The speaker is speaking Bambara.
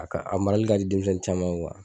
A ka a marali ka di denmisɛnw caman ye